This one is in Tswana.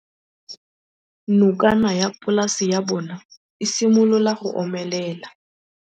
Nokana ya polase ya bona, e simolola go omelela.